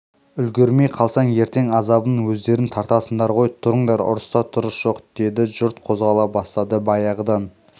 үлгірмей қалсаң ертең азабын өздерің тартасыңдар ғой тұрыңдар ұрыста тұрыс жоқ деді жұрт қозғала бастады баяғыдан